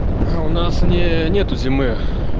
а у нас не нету зимы